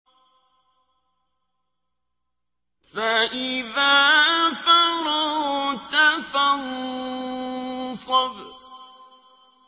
فَإِذَا فَرَغْتَ فَانصَبْ